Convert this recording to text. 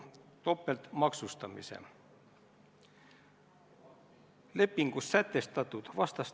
Mul on väga hea meel kuulda, et Siim Kallas on juba haiglast väljas.